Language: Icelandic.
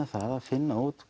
það að finna út